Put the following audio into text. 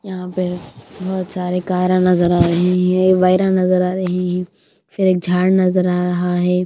यहां पर बहुत सारे कारा नजर आ रही है वायर नजर आ रही हैं फिर एक झाड़ नजर आ रहा है।